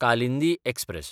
Kalindi express